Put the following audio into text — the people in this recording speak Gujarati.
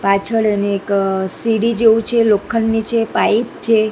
પાછડ અને એક સીડી જેવુ છે લોખંડની છે પાઈપ છે.